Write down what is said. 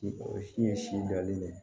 O si ye si jɔlen de ye